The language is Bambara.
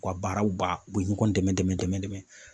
U ka baaraw ba u bɛ ɲɔgɔn dɛmɛ dɛmɛ